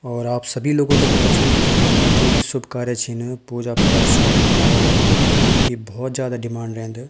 और आप सभी लोगो थे पता च की हमरा जो भी शुभ कार्य छिन पूजा पाठ शादी ब्या वैमा फूलों की भौत जादा डिमांड रैंद।